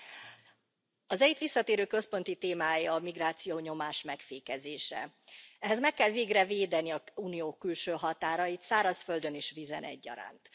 Elnök Asszony! Az EIT visszatérő, központi témája a migráció nyomás megfékezése. Ehhez meg kell végre védeni az Unió külső határait, szárazföldön és vízen egyaránt.